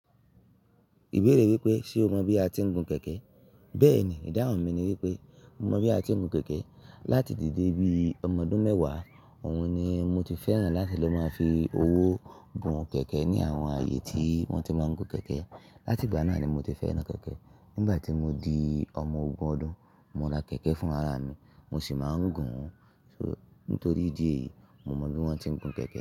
Ìbéèrè wípé ṣe o mọ bí a ti ń gun kẹ̀kẹ́? Bẹ́ẹ̀ni, ìdáhùn mi ni wípé mo mọ bí a ti ń gun kẹ̀kẹ́. Láti dìde bí i ọmọ ọdún mẹ́wàá, òun ni mo ti fẹ́ràn láti lọ máa fi owó gun kẹ̀kẹ́ ní àwọn ààyè tí wọ́n ti máa ń gun kẹ̀kẹ́. Láti ìgbà náà ni mo ti fẹ́ràn kẹ̀kẹ́. Nígbà tí mo di ọmọ ogún ọdún, mo ra kẹ̀kẹ́ fún ara mi, mo sì máa ń gun. Nítorí ìdí èyí, mo mọ bí wọ́n ti ń gun kẹ̀kẹ́